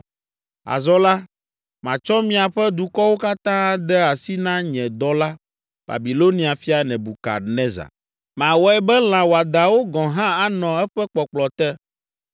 Azɔ la, matsɔ miaƒe dukɔwo katã ade asi na nye dɔla, Babilonia fia, Nebukadnezar. Mawɔe be lã wɔadãwo gɔ̃ hã anɔ eƒe kpɔkplɔ te.